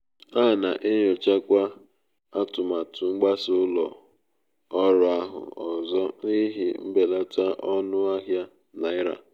a na-enyochakwa atụmatụ mgbasa ụlọ ọrụ ahụ ọzọ n'ihi mbelata ọnụ ahịa naira.